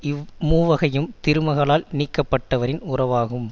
இவ் மூவகையும் திருமகளால் நீக்கப்பட்டவரின் உறவாகும்